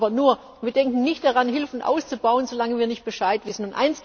Hilfen. Aber wir denken nicht daran, Hilfen auszubauen, solange wir nicht Bescheid